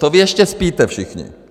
To vy ještě spíte všichni.